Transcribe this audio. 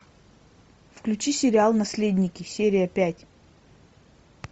включи сериал наследники серия пять